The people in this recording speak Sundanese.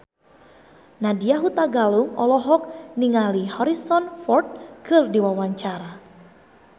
Nadya Hutagalung olohok ningali Harrison Ford keur diwawancara